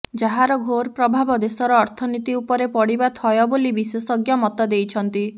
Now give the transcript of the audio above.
ଯାହାର ଘୋର୍ ପ୍ରଭାବ ଦେଶର ଅର୍ଥନୀତି ଉପରେ ପଡ଼ିବା ଥୟ ବୋଲି ବିଶେଷଜ୍ଞ ମତଦେଇଛନ୍ତି